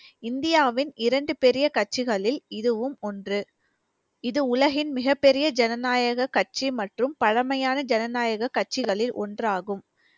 இந்தியாவின் இரண்டு பெரிய கட்சிகளில் இதுவும் ஒன்று இது உலகின் மிகப் பெரிய ஜனநாயக கட்சி மற்றும் பழமையான ஜனநாயக கட்சிகளில் ஒன்றாகும்